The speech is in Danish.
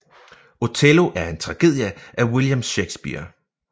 Othello er en tragedie af William Shakespeare